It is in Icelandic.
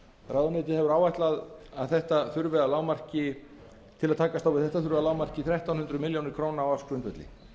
ráðuneytið hefur áætlað að til að takast á við þetta þurfi að lágmarki þrettán hundruð milljónir króna á ársgrundvelli